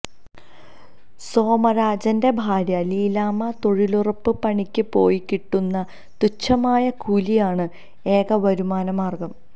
സോമരാജിന്റെ ഭാര്യ ലീലാമ്മ തൊഴിലുറപ്പ് പണിക്ക് പോയി കിട്ടുന്ന തുച്ഛമായ കൂലിയാണ് ഏക വരുമാന മാർഗം